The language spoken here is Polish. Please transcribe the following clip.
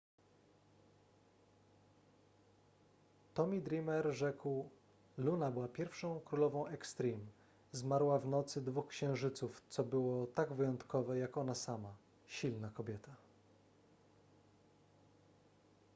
tomy dreamer rzekł luna była pierwszą królową extreme zmarła w nocy dwóch księżyców co było tak wyjątkowe jak ona sama silna kobieta